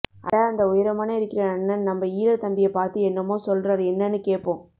அட அந்த உயரமான இருக்கிற அண்ணன் நம்ப ஈழத் தம்பிய பார்த்து என்னமோ சொல்றார் என்னன்னு கேட்போம்